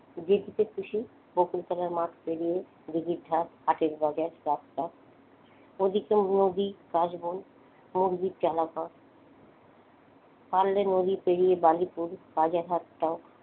যেদিকে খুশি বকুলতলার মাঠ পেরিয়ে দীঘির ধার হাটের বাজার রাস্তা ওদিকে নদী কাশবন পারলে নদী পেরিয়ে বালিপুর হাট হটাও,